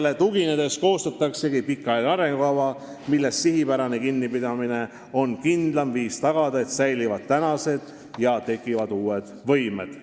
Nendele tuginedes koostataksegi pikaajaline arengukava, millest sihipärane kinnipidamine on kindlaim viis tagada, et säilivad praegused ja tekivad uued võimed.